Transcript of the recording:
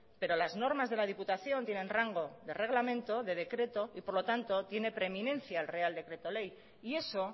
pero las normas de la diputación tienen rango de reglamento de decreto y por lo tanto tiene preeminencia el real decreto ley y eso